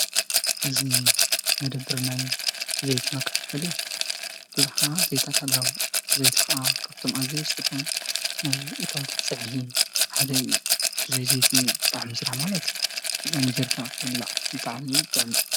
እዚ መደበር ዘይቲ ኮይኑ ብበዝሒ ኸዓ ይረአ። ዘይቲ ፀብሒ መምቀሪ ንጥቀመሉ።